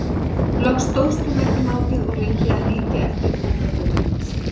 Loks stóðst hún ekki mátið og reyndi að líkja eftir fótaburði hans.